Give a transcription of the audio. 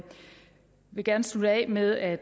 vil gerne slutte af med at